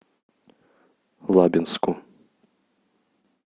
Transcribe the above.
лабинску